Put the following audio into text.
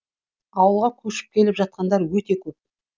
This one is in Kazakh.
ауылға көшіп келіп жатқандар өте көп